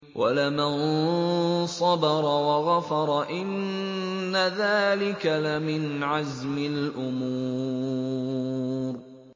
وَلَمَن صَبَرَ وَغَفَرَ إِنَّ ذَٰلِكَ لَمِنْ عَزْمِ الْأُمُورِ